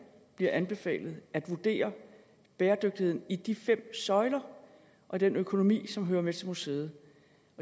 bliver anbefalet at vurdere bæredygtigheden i de fem søjler og den økonomi som hører med til museet